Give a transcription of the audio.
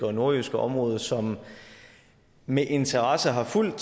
og nordjyske område som med interesse har fulgt